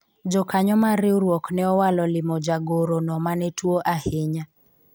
jokanyo mar riwruok ne owalo limo jagoro no mane tuo ahinya